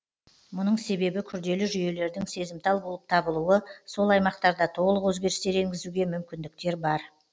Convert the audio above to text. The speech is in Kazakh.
мұның себебі күрделі жүйелердің сезімтал болып табылуы сол аймақтарда толық өзгерістер енгізуге мүмкіндіктер бар